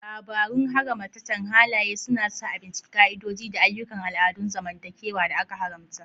Labarun haramatacen halaye suna sa a bincika ƙa'idodi da ayyukan al'adun zamantakewa da aka haramta.